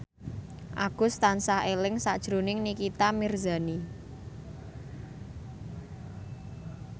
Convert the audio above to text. Agus tansah eling sakjroning Nikita Mirzani